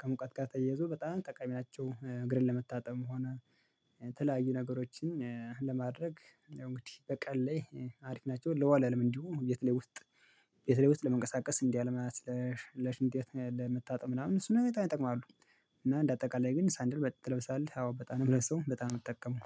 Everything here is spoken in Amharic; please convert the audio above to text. ከሙቀት ጋር ተያይዞ በጣም ጠቃሚ ናቸው። እግርን ለመታጠም ሆነ የተለያዩ ነገሮችን ለማድረግ እንግዲህ በቀን ላይ አሪፍ ናቸው ለወለልም እንዲሁ ቤት ላይ ውስጥ ቤት ላይ ውስጥ ለመንቀሳቀስ ለሽንት ቤት ለመታጠብ ምናምን እሱን በጣም ይጠቅማሉ። እና እንደ አጠቃላይ ግን ሳንድል ትለብሳለህ አዎ በጣም ነው እምለብሰው በጣም ነው እምጠቀመው